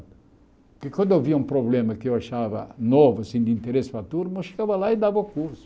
Porque quando eu via um problema que eu achava novo, assim, de interesse para a turma, eu chegava lá e dava o curso.